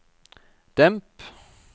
demp